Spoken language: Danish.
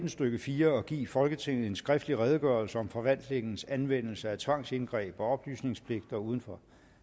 stykke fire at give folketinget en skriftlig redegørelse om forvaltningens anvendelse af tvangsindgreb og oplysningspligter uden for